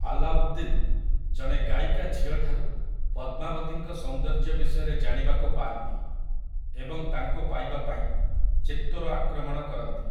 ଆଲାଉଦ୍ଦିନ୍‌, ଜଣେ ଗାୟିକା ଝିଅଠାରୁ ପଦ୍ମାବତୀଙ୍କ ସୌନ୍ଦର୍ଯ୍ୟ ବିଷୟରେ ଜାଣିବାକୁ ପାଆନ୍ତି ଏବଂ ତାଙ୍କୁ ପାଇବା ପାଇଁ ଚିତ୍ତୋର ଆକ୍ରମଣ କରନ୍ତି ।